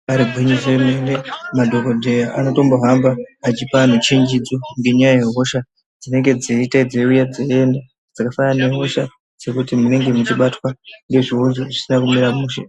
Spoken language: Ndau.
Imbaari gwinyiso remene madhokodheya anotombohamba achipa antu chenjedzo ngenyaya yehosha dzinenge dzeite dzeiuya dzeienda dzakafanana nedzekuti munenge meibatwa ngehosha dzekuti zvinenge zvisina kumira mushe.